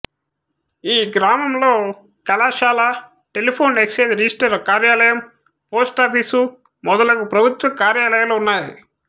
ఈ గ్రామంలో ప్రభుత్వ కళాశాల టెలిఫోన్ ఎక్జేంజ్ రిజిష్టారు కార్యాలయం పోస్టాఫీసు మొదలగు ఫ్రభుత్వ కార్యాలయాలు ఉన్నాయి